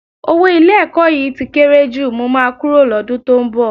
Owó ilé-ẹ̀kọ́ yìí tí kéré jù, mo máa kúrò lọ́dún tó ń bọ̀